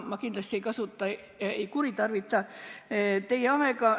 Ma kindlasti ei kuritarvita teie aega.